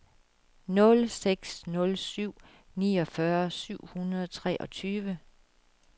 nul seks nul syv niogfyrre syv hundrede og treogtyve